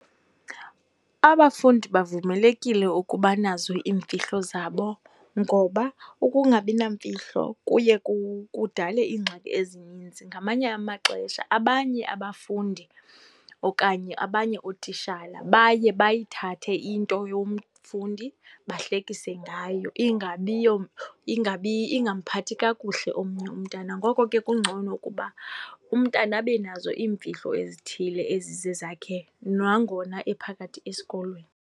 Abafundi bavumelekile ukuba nazo iimfihlo zabo ngoba ukungabi namfihlo kuye kudale iingxaki ezininzi. Ngamanye amaxesha abanye abafundi okanye abanye ootishala baye bayithathe into yomfundi bahlekise ngayo, ingabi ingamphathi kakuhle omnye umntana. Ngoko ke kungcono ukuba umntana abe nazo iimfihlo ezithile ezizezakhe nangona ephakathi esikolweni.